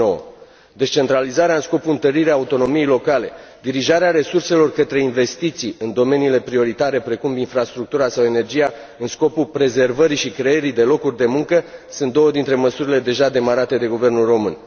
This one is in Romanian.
2009. Descentralizarea în scopul întăririi autonomiei locale, dirijarea resurselor către investiții în domeniile prioritare precum infrastructura sau energia, în scopul prezervării și creării de locuri de muncă, sunt două dintre măsurile deja demarate de guvernul român.